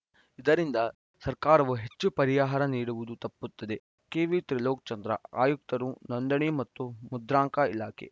ಇದರಿಂದ ಸರ್ಕಾರವೂ ಹೆಚ್ಚು ಪರಿಹಾರ ನೀಡುವುದು ತಪ್ಪುತ್ತದೆ ಕೆವಿ ತ್ರಿಲೋಕ್‌ ಚಂದ್ರ ಆಯುಕ್ತರು ನೋಂದಣಿ ಮತ್ತು ಮುದ್ರಾಂಕ ಇಲಾಖೆ